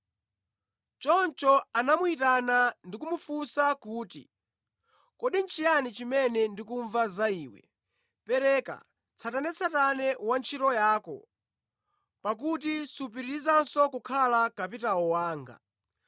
Choncho anamuyitana ndi kumufunsa kuti, ‘Kodi nʼchiyani chimene ndikumva za iwe? Pereka tsatanetsatane wa ntchito yako, pakuti supitirizanso kukhala kapitawo wanga.’